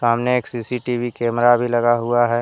सामने एक CCTV camera भी लगा हुआ है।